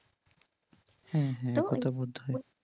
হুম হুম তো এটা বোধ হয়।